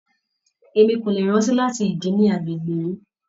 Emi ko le rántí láti ìdí nì agbègbè yìí.